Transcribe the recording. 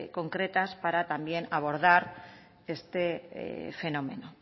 concretas para también abordar este fenómeno